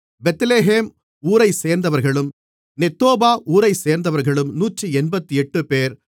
Bethlehem ஊரைச்சேர்ந்தவர்களும் Netophah ஊரைச்சேர்ந்தவர்களும் 188 பேர்